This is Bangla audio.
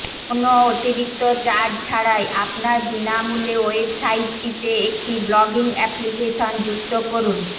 কোনও অতিরিক্ত চার্জ ছাড়াই আপনার বিনামূল্যে ওয়েবসাইটটিতে একটি ব্লগিং অ্যাপ্লিকেশন যুক্ত করুন